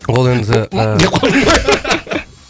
ол енді